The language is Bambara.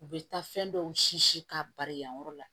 U bɛ taa fɛn dɔw si k'a bari yan yɔrɔ la